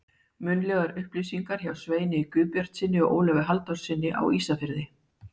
Munnlegar upplýsingar hjá Sveini Guðbjartssyni og Ólafi Halldórssyni á Ísafirði.